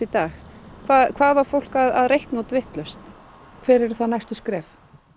dag hvað var fólk að reikna út vitlaust hver eru þá næstu skref